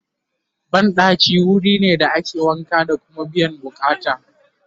banɗaki wurine da ake wanka da Kuma biyan buƙatan